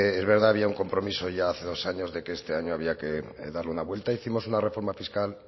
es verdad había un compromiso ya hace dos años de que este año había que darle una vuelta hicimos una reforma fiscal